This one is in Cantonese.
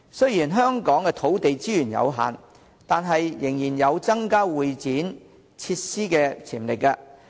雖然香港土地資源有限，但仍然有增加會展設施的潛力。